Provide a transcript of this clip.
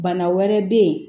Bana wɛrɛ bɛ yen